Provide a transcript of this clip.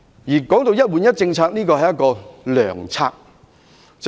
談到"一換一"計劃，這是良策。